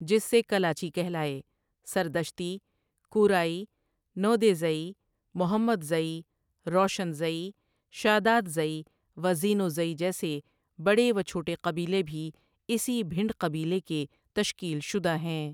جس سے کلاچی کہلائے ، سردشتی، کُورائی، نودیزئی، محمدزئی، روشنزئی، شادادزئی و زینوزئی جیسے بڑے و چھوٹے قبیلے بھی اسی بھنڈ قبیلے کے تشکیل شدہ ہیں